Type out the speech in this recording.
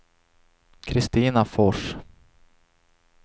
Kristina Fors